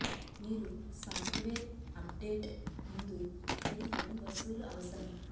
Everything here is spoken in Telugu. మీరు సాఫ్ట్వేర్ అప్డేట్ ముందు మీరు ఫోన్ వసూలు అవసరం